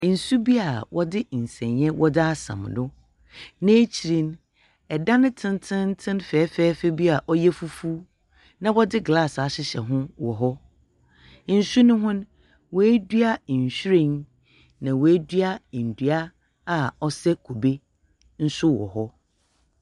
Nsu bi a wode nsene yɛ wode asɛn do na akyire edan tententen fɛfɛɛfɛ bi a woyɛ fufuo na wode glass ahyehyɛ ho wchc nsu no hon wadua nhwiren na wadua ndua a wosɛ kube nso wchc.